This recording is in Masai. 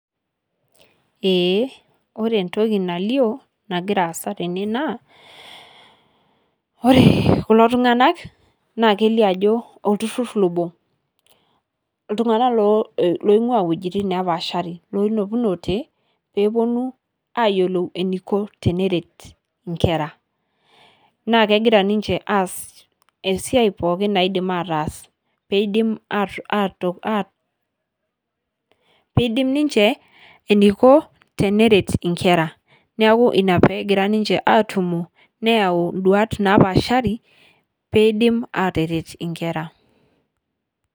Ee ore entoki nalioo nagira aasa tene, ore kulo tung'anak naa kelio ajo olturrur obo iltung'anak loing'uaa iwejitin naapashari loinepunote tene pee eponu aayiolou eniko teneret nkera naa kegira ninche aas esiai pookin naidim aataas pee idim ninche eniko teneret nkera, neeku ina pee egira ninche aatumo neyau induaat naapashaari pee idim aataret nkera.